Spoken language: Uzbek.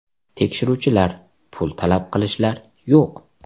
Tekshiruvchilar, pul talab qilishlar yo‘q.